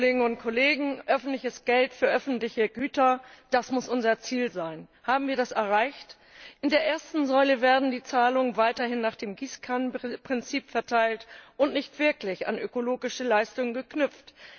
Herr Präsident, liebe Kolleginnen und Kollegen! Öffentliches Geld für öffentliche Güter, das muss unser Ziel sein! Haben wir das erreicht? In der ersten Säule werden die Zahlungen weiterhin nach dem Gießkannenprinzip verteilt und nicht wirklich an ökologische Leistungen geknüpft.